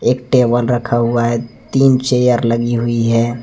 Table रखा हुआ है तीन चेयर लगी हुई है।